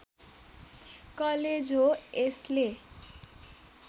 college हो यसले